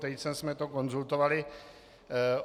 Tejcem jsme to konzultovali.